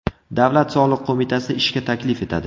Davlat soliq qo‘mitasi ishga taklif etadi.